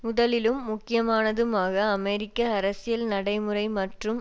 முதலிலும் முக்கியமானதுமாக அமெரிக்க அரசியல் நடைமுறை மற்றும்